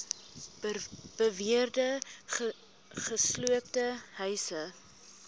beweerde gesloopte huise